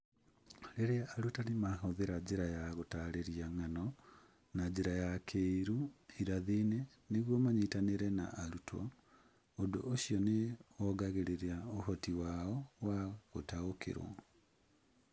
Rĩrĩa arutani mahũthĩra njĩra ya gũtaarĩria ng'ano na njĩra ya kĩĩrĩu irathi-inĩ nĩguo manyitanĩre na arutwo, ũndũ ũcio nĩ wongagĩrĩra ũhoti wao wa gũtaũkĩrũo.